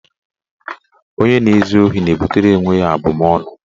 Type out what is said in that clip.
Onye na-ezu ohi na-ebutere onwe ya abụmaọnụ.